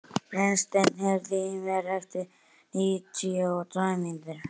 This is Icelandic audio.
Brynsteinn, heyrðu í mér eftir níutíu og tvær mínútur.